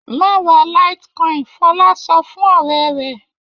Má ra litecoin! Fọlá sọ fún ọ̀rẹ́ rẹ̀.